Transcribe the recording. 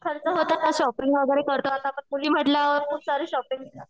खर्च होतो ना शॉपिंग वगैरे करतो आता आपण म्हंटल्यावर खूप सारी शॉपिंग.